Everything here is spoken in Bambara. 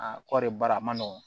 Aa kɔrɔri baara ma nɔgɔn